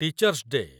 teachers day